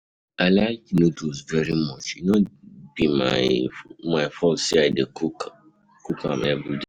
I like noodles very much, e no be my my fault say I dey cook a everyday.